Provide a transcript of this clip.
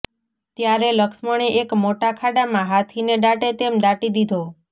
ત્યારે લક્ષ્મણે એક મોટા ખાડામાં હાથીને દાટે તેમ દાટી દીધો